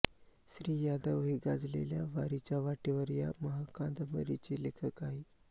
श्री यादव हे गाजलेल्या वारीच्या वाटेवर या महाकांदबरीचे लेखक आहेत